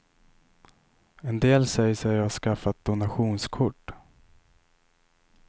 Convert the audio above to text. En del säger sig ha skaffat donationskort.